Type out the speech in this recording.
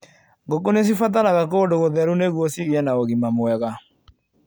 Ngũkũ nĩcibataraga kũndu gũtheru nĩguo cigie na ũgima mwega.